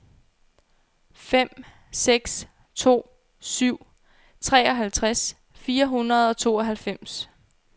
fem seks to syv treoghalvtreds fire hundrede og tooghalvfems